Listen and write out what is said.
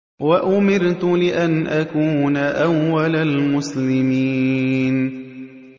وَأُمِرْتُ لِأَنْ أَكُونَ أَوَّلَ الْمُسْلِمِينَ